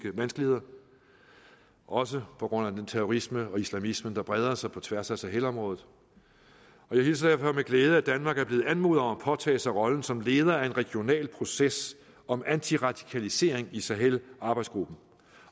vanskeligheder også på grund af den terrorisme og islamisme der breder sig på tværs af sahelområdet og jeg hilser derfor med glæde at danmark er blevet anmodet om at påtage sig rollen som leder af en regional proces om antiradikalisering i sahelarbejdsgruppen